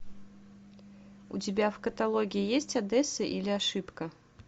у тебя в каталоге есть одесса или ошибка